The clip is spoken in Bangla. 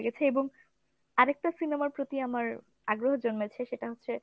ভালো লেগেছে এবং আরেকটা cinemaর প্রতি আমার আগ্রহ জন্মেছে সেটা হচ্ছে